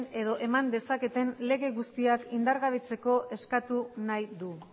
edo eman dezaketen lege guztiak indargabetzeko eskatu nahi du